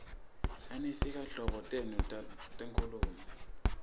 nanyfti nhlobo teti nkhungn